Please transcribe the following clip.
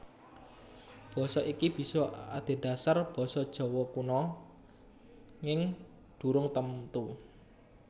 Basa iki bisa adhedhasar basa Jawa Kuna nging durung temtu